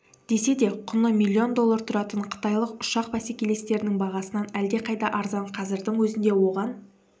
десе де құны миллион доллар тұратын қытайлық ұшақ бәсекелестерінің бағасынан әлдеқайда арзан қазірдің өзінде оған